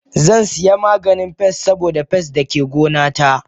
Zansiya maganin pest saboda pest dake gona ta.